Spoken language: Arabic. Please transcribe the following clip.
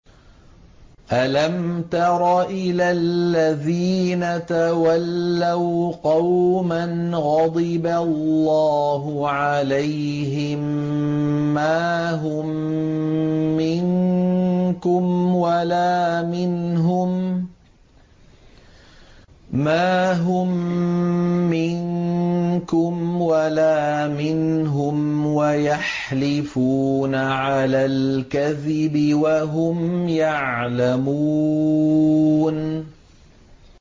۞ أَلَمْ تَرَ إِلَى الَّذِينَ تَوَلَّوْا قَوْمًا غَضِبَ اللَّهُ عَلَيْهِم مَّا هُم مِّنكُمْ وَلَا مِنْهُمْ وَيَحْلِفُونَ عَلَى الْكَذِبِ وَهُمْ يَعْلَمُونَ